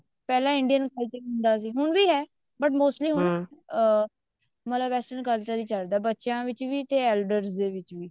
ਪਹਿਲਾਂ Indian culture ਹੁੰਦਾ ਸੀ ਹੁਣ ਵੀ ਹੈ but mortally ਅਮ western culture ਹੀ ਚੱਲਦਾ ਬੱਚਿਆਂ ਦੇ ਵਿੱਚ ਵੀ ਤੇ elders ਦੇ ਵਿੱਚ ਵੀ